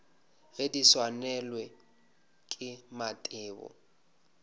ge di swanelwa ke mathebo